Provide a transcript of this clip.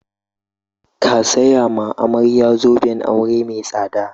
Ka saya ma amarya zoben aure mai tsada!